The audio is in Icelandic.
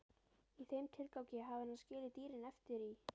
Í þeim tilgangi hafði hann skilið dýrin eftir í